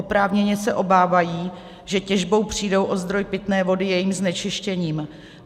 Oprávněně se obávají, že těžbou přijdou o zdroj pitné vody jejím znečištěním.